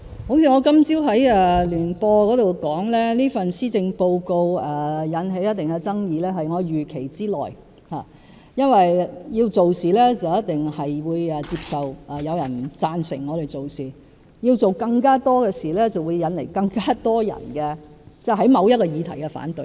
正如我今早在電台聯播節目中所說，這份施政報告引起一定的爭議是我預期之內，因為要做事一定要接受有人不贊成我們所做的事，要做更多的事，便會引來更多人對某項議題的反對。